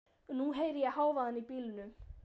Og nú heyri ég hávaðann í bílunum.